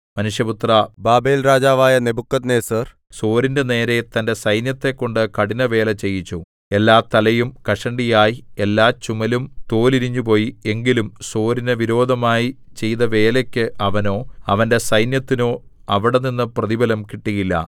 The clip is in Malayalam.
മനുഷ്യപുത്രാ ബാബേൽരാജാവായ നെബൂഖദ്നേസർ സോരിന്റെ നേരെ തന്റെ സൈന്യത്തെക്കൊണ്ട് കഠിനവേല ചെയ്യിച്ചു എല്ലാ തലയും കഷണ്ടിയായി എല്ലാചുമലും തോലുരിഞ്ഞുപോയി എങ്കിലും സോരിനു വിരോധമായി ചെയ്തവേലയ്ക്കു അവനോ അവന്റെ സൈന്യത്തിനോ അവിടെനിന്നു പ്രതിഫലം കിട്ടിയില്ല